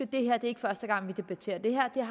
det er ikke første gang vi debatterer det her jeg